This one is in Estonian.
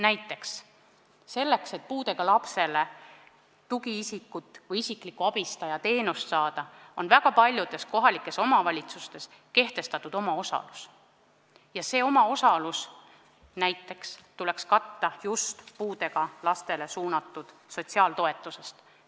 Näiteks selleks, et puudega lapsele tugiisikut või isikliku abistaja teenust saada, on väga paljudes kohalikes omavalitsustes kehtestatud omaosalus ja see omaosalus tuleks katta just puudega lastele mõeldud sotsiaaltoetusest.